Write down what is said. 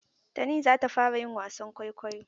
Tani za ta fara yin wasan kwaikwayo.